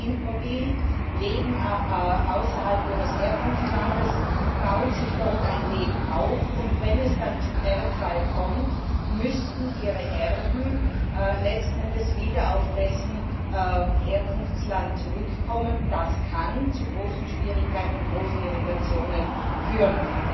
Menschen sind mobil, leben außerhalb ihres Herkunftslandes, bauen sich dort ein Leben auf, und wenn es dann zum Erbfall kommt, müssten ihre Erben letzten Endes wieder auf deren Herkunftsland zurückkommen. Das kann zu großen Schwierigkeiten und großen Irritationen führen.